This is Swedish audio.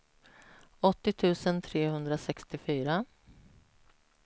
åttio tusen trehundrasextiofyra